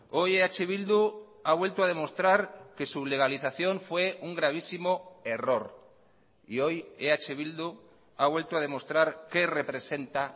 hoy eh bildu ha vuelto a demostrar que su legalización fue un gravísimo error y hoy eh bildu ha vuelto a demostrar qué representa